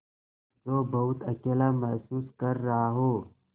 जो बहुत अकेला महसूस कर रहा हो